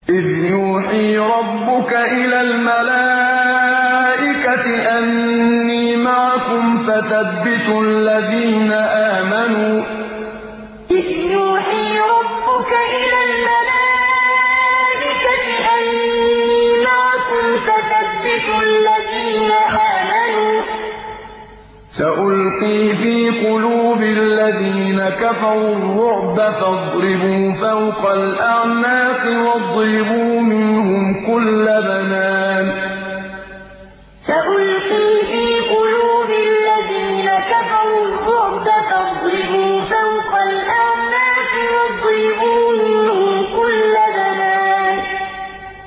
إِذْ يُوحِي رَبُّكَ إِلَى الْمَلَائِكَةِ أَنِّي مَعَكُمْ فَثَبِّتُوا الَّذِينَ آمَنُوا ۚ سَأُلْقِي فِي قُلُوبِ الَّذِينَ كَفَرُوا الرُّعْبَ فَاضْرِبُوا فَوْقَ الْأَعْنَاقِ وَاضْرِبُوا مِنْهُمْ كُلَّ بَنَانٍ إِذْ يُوحِي رَبُّكَ إِلَى الْمَلَائِكَةِ أَنِّي مَعَكُمْ فَثَبِّتُوا الَّذِينَ آمَنُوا ۚ سَأُلْقِي فِي قُلُوبِ الَّذِينَ كَفَرُوا الرُّعْبَ فَاضْرِبُوا فَوْقَ الْأَعْنَاقِ وَاضْرِبُوا مِنْهُمْ كُلَّ بَنَانٍ